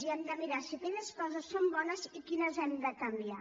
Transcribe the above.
i hem de mirar si aquelles coses són bones i quines hem de canviar